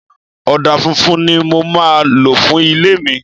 Ọ̀dà funfun ni mo máa lò fún ilé mi.